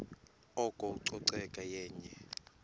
oko ucoceko yenye